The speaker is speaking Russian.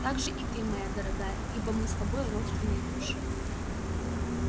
также и ты моя дорогая ибо мы с тобой родственные души